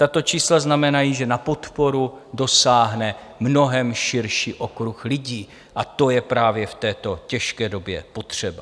Tato čísla znamenají, že na podporu dosáhne mnohem širší okruh lidí, a to je právě v této těžké době potřeba.